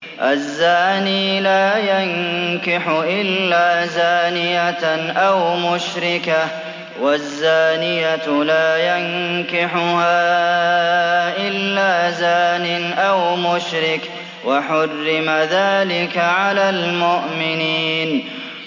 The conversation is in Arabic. الزَّانِي لَا يَنكِحُ إِلَّا زَانِيَةً أَوْ مُشْرِكَةً وَالزَّانِيَةُ لَا يَنكِحُهَا إِلَّا زَانٍ أَوْ مُشْرِكٌ ۚ وَحُرِّمَ ذَٰلِكَ عَلَى الْمُؤْمِنِينَ